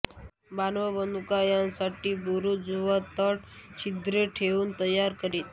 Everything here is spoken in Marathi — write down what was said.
बाण व बंदुका यांसाठी बुरूज व तट छिद्रे ठेऊन तयार करीत